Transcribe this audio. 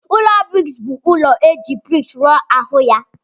Ụlọ briks bu ụlọ eji briks rụọ ahu ya.